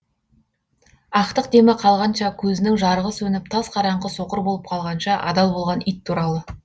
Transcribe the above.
ақтық демі қалғанша көзінің жарығы сөніп тас қараңғы соқыр болып қалғанша адал болған ит туралы